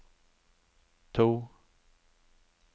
to